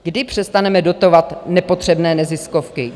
Kdy přestaneme dotovat nepotřebné neziskovky?